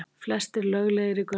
Flestir löglegir í göngunum